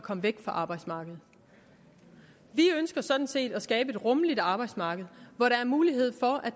komme væk fra arbejdsmarkedet vi ønsker sådan set at skabe et rummeligt arbejdsmarked hvor der er mulighed for at